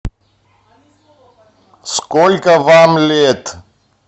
сколько вам лет